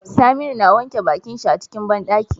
Saminu na wanke bakin shi a cikin banɗaki